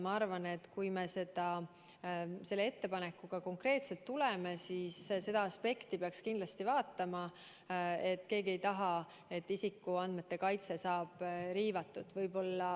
Ma arvan, et kui me selle ettepanekuga konkreetselt tuleme, siis seda aspekti peaks kindlasti arvestama, et keegi ei taha, et isikuandmete kaitse saab riivatud.